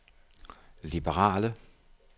liberale